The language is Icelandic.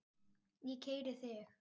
Ég keyri þig!